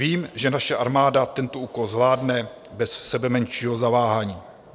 Vím, že naše armáda tento úkol zvládne bez sebemenšího zaváhání.